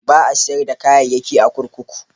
Ba a sayar da kayayyaki a kurkuku.